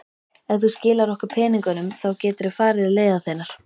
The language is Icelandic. Ef þú skilar okkur peningunum þá geturðu farið leiðar þinnar.